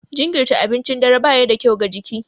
Jinkirirta abincin dare ba ya da kyau ga jiki.